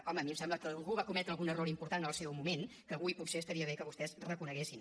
home a mi em sembla que algú va cometre algun error important en el seu moment que avui potser estaria bé que vostès reconeguessin